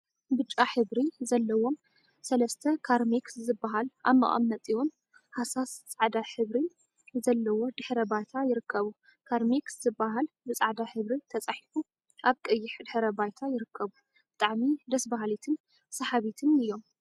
ብጫ ሕብሪ ዘለዎም ሰለስተ ካርሜክስ ዝበሃል ኣብ መቀመጢኡን ሃሳስ ጻዕዳ ሕብሪን ዘለዎ ድሕረ ባይታ ይርከቡ። ካርሜክስ ዝብል ብጻዕዳ ሕብሪ ተጻሒፉ ኣብ ቀይሕ ድሕረ ባይታ ይርከቡ። ብጣዕሚ ደስ በሃልቲን ሰሓብቲን እዮም።